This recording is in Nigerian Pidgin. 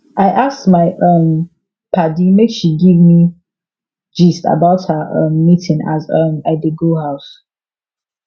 i ask my um padi make she give me gist about her um meeting as um i dey go house